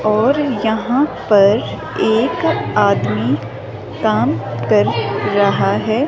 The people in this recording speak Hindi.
यहाँ और पर एक आदमी काम कर रहा है।